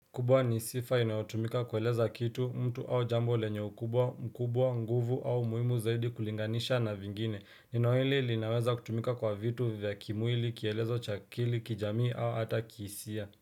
Kubwa ni sifa inayotumika kueleza kitu mtu au jambo lenye ukubwa mkubwa nguvu au muimu zaidi kulinganisha na vingine neno hili linaweza kutumika kwa vitu vya kimwili kielezo chakili kijamii au hata kisia.